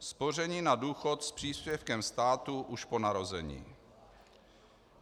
Spoření na důchod s příspěvkem státu už po narození.